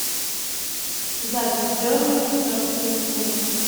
запись бернли против ливерпуля